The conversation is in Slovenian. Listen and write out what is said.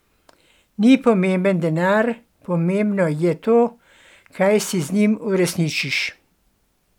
Ni pomemben denar, pomembno je to, kaj si z njim uresničiš.